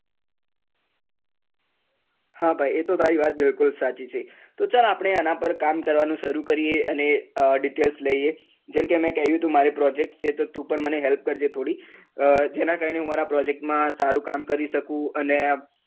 હા ભાઈ એ તો તારી વાત બિલકુલ સાચી છે, તો ચાલ આપણે આના પર કામ કરવાનું શરુ કરીએ અને details લઈએ જેમ કે મેં કહ્યું હતું મારે project છે તો તું પણ મને help કર જે થોડી જેના કારણે હું મારા project માં સારું કામ કરી સકું અને